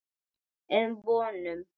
um vonum.